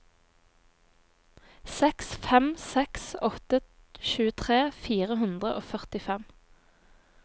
seks fem seks åtte tjuetre fire hundre og førtifem